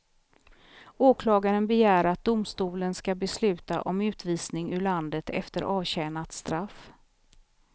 Åklagaren begär att domstolen ska besluta om utvisning ur landet efter avtjänat straff.